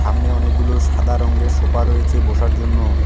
সামনে অনেকগুলো সাদা রঙ্গের সোফা রয়েছে বসার জন্য।